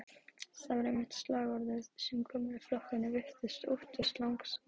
Það var einmitt slagorðið sem gömlu flokkarnir virtust óttast langmest.